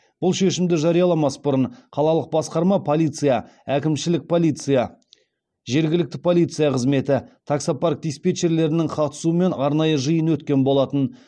бұл шешімді жарияламас бұрын қалалық басқарма полиция әкімшілік полиция жергілікті полиция қызметі таксопарк диспетчерлерінің қатысуымен арнайы жиын өткен болатын